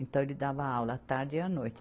Então, ele dava aula à tarde e à noite.